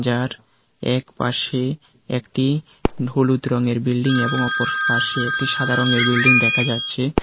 আর একপাশে একটি হলুদ রংয়ের বিল্ডিং এবং অপর পাশে একটি সাদা রংয়ের বিল্ডিং দেখা যাচ্ছে।